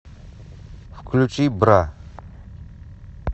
включи бра